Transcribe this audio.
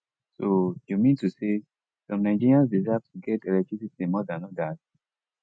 so you mean to say some nigerians deserve to get electricity more dan odas